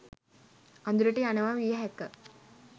අඳුරට යනවා විය හැක